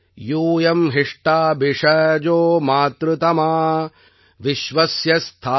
யூயம் ஹிஷ்டா பிஷஜோ மாத்ருதமா விஷ்வஸ்ய ஸ்தாது ஜகதோ ஜனித்ரீ